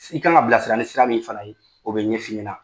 I kan ka bila sira ni sira min fana ye o bɛ ɲɛ f'i ɲɛna.